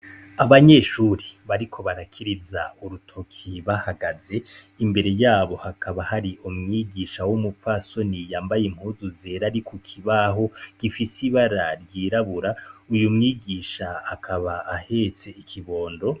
Abanyeshure bariko barakiriza urutoke bahagaze imbere yabo hakaba hari umwigisha w’umupfasoni yambaye impuzu zera ari ku kibaho gifise ibara ryirabura, uwo mwigisha akaba ahetse ikibondo.